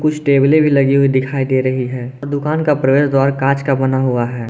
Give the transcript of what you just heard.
कुछ टैबले भी लगी हुई दिखाई दे रही हैं और दुकान का प्रवेश द्वार कांच का बना हुआ है।